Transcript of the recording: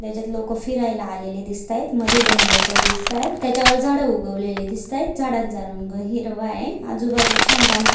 त्याच्यात लोक फिरायला आले दिसतायेत मधे दोन लोक दिसताय त्याच्या वर झाडे उगवलेले दिसतायत झाडांचा रंग हिरवा आहे आजू-बाजू छान बांधकाम--